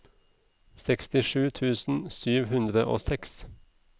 sekstisju tusen sju hundre og seks